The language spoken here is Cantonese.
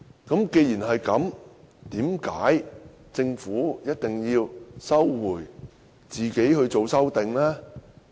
既然如此，政府為何堅持自行提出修正案？